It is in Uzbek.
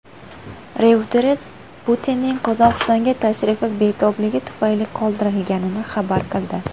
Reuters Putinning Qozog‘istonga tashrifi betobligi tufayli qoldirilganini xabar qildi.